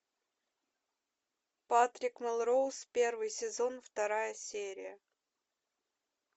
патрик мелроуз первый сезон вторая серия